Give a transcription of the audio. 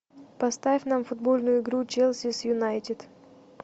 поставь нам футбольную игру челси с юнайтед